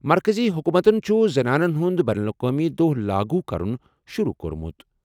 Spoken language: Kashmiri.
مرکٔزی حکوٗمتَن چھُ زنانَن ہُنٛد بین الاقوٲمی دۄہ لاگو کرُن شروٗع کوٚرمُت۔